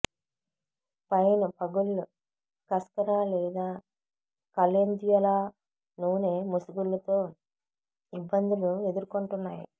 fine పగుళ్లు cascara లేదా calendula నూనె ముసుగులు తో ఇబ్బందులు ఎదుర్కొంటున్నాయి